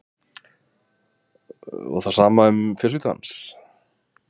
Höskuldur: Og það sama um fjölskyldu hans?